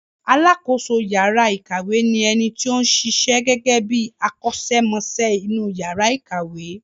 Alákoso yàrá ìkàwé ni ẹni tó ń ṣiṣẹ́ gẹ́gẹ́ bí akọ́ṣẹ́mọṣẹ́ inú yàrà ìkàwé.